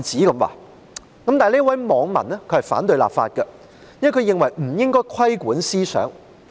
然而，這位網民反對立法，因為他認為不應該規管思想。